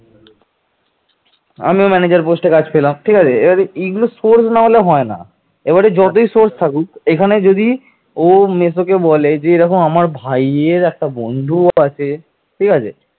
তিনি কনৌজের অধিকারী রাজ্যবর্ধনকে পরাজিত ও নিহত করে ক্ষমতা দখল করেন